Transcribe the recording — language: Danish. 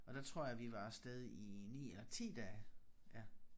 Og der tror jeg vi var afsted i 9 10 dage ja